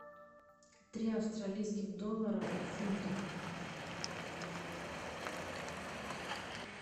три австралийских доллара в фунтах